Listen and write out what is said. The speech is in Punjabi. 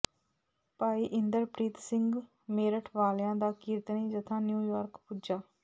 ਭਾਈ ਇੰਦਰਪ੍ਰੀਤ ਸਿੰਘ ਮੇਰਠ ਵਾਲਿਆਂ ਦਾ ਕੀਰਤਨੀ ਜਥਾ ਨਿਊਯਾਰਕ ਪੁੱਜਾ